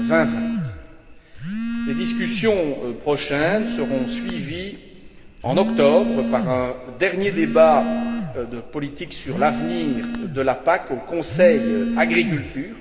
2020. Les discussions prochaines seront suivies, en octobre, par un dernier débat de politique sur l'avenir de la PAC au Conseil Agriculture.